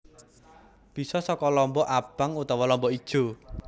Bisa saka lombok abang utawa lombok ijo